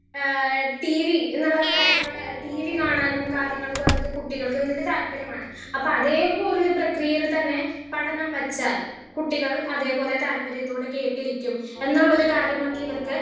Speaker 1 ഏഹ് TV എന്നുള്ള കാര്യങ്ങൾ ട്ടീ വി കാണാനും കാര്യങ്ങൾക്കും അതൊക്കെ കുട്ടികൾക്ക് വല്യ താല്പര്യമാണ്. അപ്പൊ അതുപോലൊരു പ്രേക്യയിൽ തന്നെ പഠനം വെച്ചാൽ കുട്ടികൾ അതേപോലെ താല്പര്യത്തോടെ കേട്ടിരിക്കുംഎന്നുള്ള ഒരു കാര്യമൊക്കെ ഇവർക്ക്